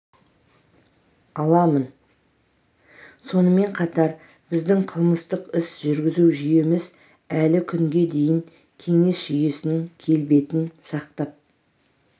аламын сонымен қатар біздің қылмыстық іс жүргізу жүйеміз әлі күнге дейін кеңес жүйесінің келбетін сақтап